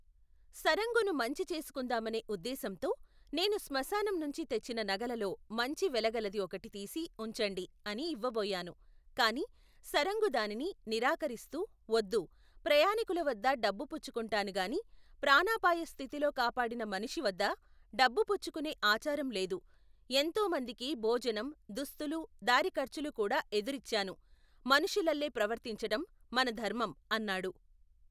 సరంగును మంచి చేసుకుందామనే ఉద్దేశంతో, నేను స్మశానంనుంచి తెచ్చిన నగలలో మంచి వెలగలది ఒకటి తీసి ఉంచండి అని ఇవ్వబోయాను కాని, సరంగు దానిని, నిరాకరిస్తూ వద్దు, ప్రయాణీకులవద్ద డబ్బు పుచ్చుకుంటాను గాని, ప్రాణాపాయస్థితిలో కాపాడిన మనిషి వద్ద, డబ్బు పుచ్చుకునే ఆచారం లేదు, ఎంతోమందికి భోజనo, దుస్తూలు, దారి ఖర్చులు కూడా ఎదురిచ్చాను, మనుషులల్లే ప్రవర్తించటం మన ధర్మం, అన్నాడు.